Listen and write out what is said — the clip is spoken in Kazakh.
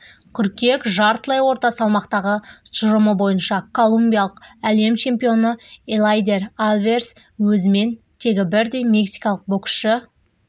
қыркүйек жартылай орта салмақтағы тұжырымы бойынша колумбиялық әлем чемпионы элейдер альварес өзімен тегі бірдей мексикалық боксшы